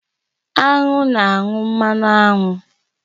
Aṅụ na-anyụ mmanụ aṅụ